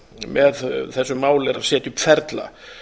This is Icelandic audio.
með þessu máli er að setja upp ferla